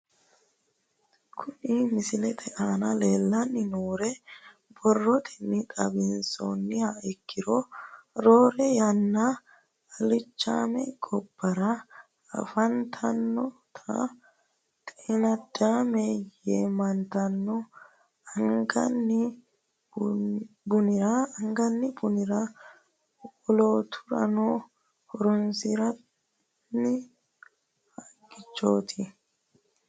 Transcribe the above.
Kuni misilete aana leelanni nooere borotenni xawisumoha ikkiro roore yanna alichaame gobara afantanota xeenadaame yaamantano angani buniranna wolooturira horonsinanni haqaati